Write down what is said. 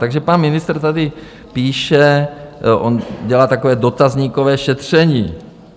Takže pan ministr tady píše, on dělá takové dotazníkové šetření.